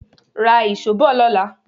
Ra ìṣó bọ̀ lọ́la.